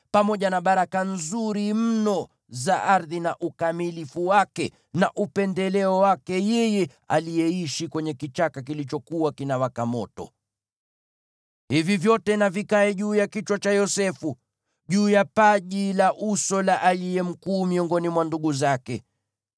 pamoja na baraka nzuri mno za ardhi na ukamilifu wake, na upendeleo wake yeye aliyeishi kwenye kichaka kilichokuwa kinawaka moto. Hivi vyote na vikae juu ya kichwa cha Yosefu, juu ya paji la uso la aliye mkuu miongoni mwa ndugu zake.